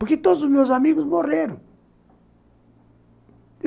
Porque todos os meus amigos morreram.